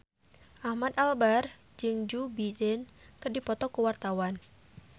Ahmad Albar jeung Joe Biden keur dipoto ku wartawan